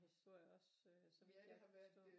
Historie også så vidt jeg kan forstå